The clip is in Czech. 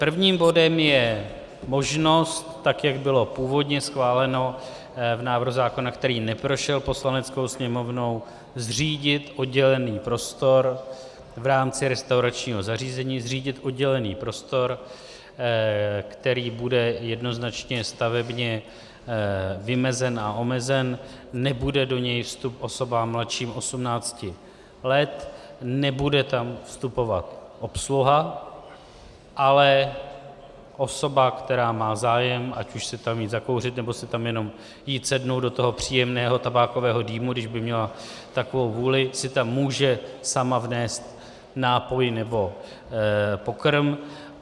Prvním bodem je možnost, tak jak bylo původně schváleno v návrhu zákona, který neprošel Poslaneckou sněmovnou, zřídit oddělený prostor v rámci restauračního zařízení, zřídit oddělený prostor, který bude jednoznačně stavebně vymezen a omezen, nebude do něj vstup osobám mladším 18 let, nebude tam vstupovat obsluha, ale osoba, která má zájem, ať už si tam jít zakouřit, nebo si tam jenom jít sednout do toho příjemného tabákového dýmu, když by měla takovou vůli, si tam může sama vnést nápoj nebo pokrm.